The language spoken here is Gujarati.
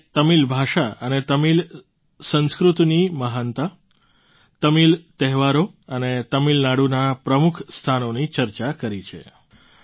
તમે તમિલ ભાષા અને તમિલ સંસ્કૃતિની મહાનતા તમિલ તહેવારો અને તમિલનાડુનાં પ્રમુખ સ્થાનોની ચર્ચા કરી છે